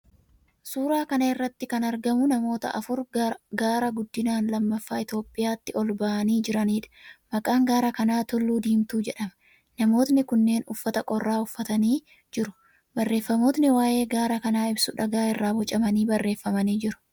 Suuraa kana irratti kan argamu namoota afur gaara guddinaan lammaffaa Itiyoophiyaatti ol ba'anii jiraniidha. Maqaan gaara kanaa Tulluu Diimtuu jedhama. Namootni kunneen uffata qorraa uffatanii jiru. Barreeffamootni waa'ee gaara kanaa ibsu dhagaa irraa bocamanii barreeffamanii jiru.